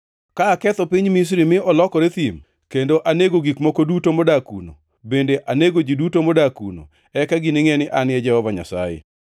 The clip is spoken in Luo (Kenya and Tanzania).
Ka aketho piny Misri mi olokore thim, kendo anego gik moko duto modak kuno, bende anego ji duto modak kuno, eka giningʼe ni An e Jehova Nyasaye.